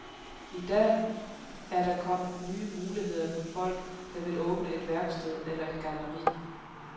I dag er der kommet nye muligheder for folk, der vil åbne et værksted eller et galleri.